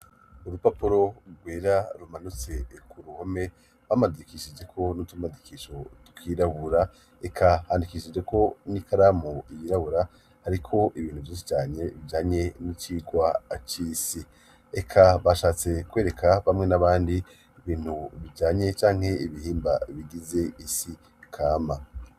Urupapuro rwera rumanutse eku ruhome bamadikishije ko n'utumadikisho twirabura, eka handikishije ko n'ikaramu ibirabura ariko ibintu byise cyanye bibyanye n'icigwa acisi eka bashatse kwereka bamwe n'abandi bintu bibyanye cyanke ibihimba bigize isi kama.